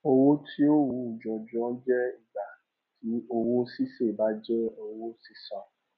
owó tí ó wú jọjọ jẹ ìgbà tí owó ṣíṣe bá jẹ owó sísan